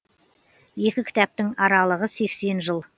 екі кітаптың аралығы сексен жыл